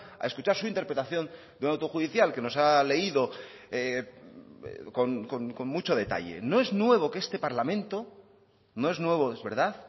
a escuchar su interpretación de un auto judicial que nos ha leído con mucho detalle no es nuevo que este parlamento no es nuevo es verdad